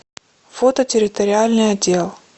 фото территориальный отдел